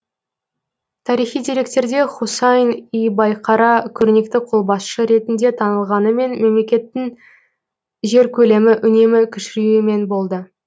тарихи деректерде хусайн и байқара көрнекті қолбасшы ретінде танылғанымен мемлекетінің жер көлемі үнемі кішіреюмен болды